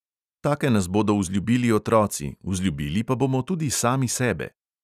Take nas bodo vzljubili otroci, vzljubili pa bomo tudi sami sebe!